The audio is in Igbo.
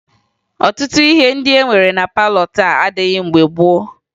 Ọtụtụ ihe ndị e nwere na palọ taa adịghị mgbe gboo